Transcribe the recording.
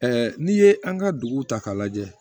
n'i ye an ka dugu ta k'a lajɛ